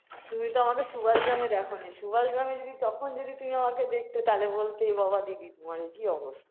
তুমি তো আমাকে সুভাষ গ্রামে দেখনি সুভাষ গ্রামে যদি তখন যদি তুমি আমাকে দেখতে তাহলে বলতে এবাবা দিদি তোমার এ কি অবস্থা